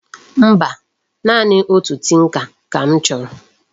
Mba, naanị otu tinka ka m choro.